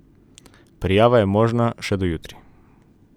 Prijava je možna še do jutri.